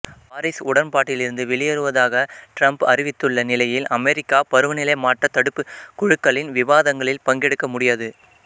Paris உடன்பாட்டிலிருந்து வெளியேறு வதாக ட்ரம்ப் அறிவித்துள்ள நிலையில் அமெரிக்கா பருவநிலை மாற்றத் தடுப்புக் குழுக்களின் விவாதங்களில் பங்கெடுக்க முடியாது